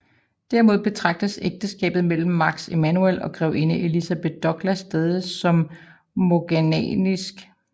Derimod betragtes ægteskabet mellem Max Emanuel og grevinde Elizabeth Douglas stadigt som morganatisk